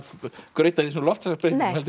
grauta í loftslagsbreytingum heldur